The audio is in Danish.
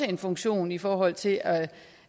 en funktion i forhold til at